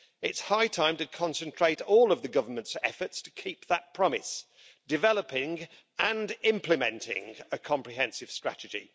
It's high time to concentrate all of the government's efforts to keep that promise, developing and implementing a comprehensive strategy.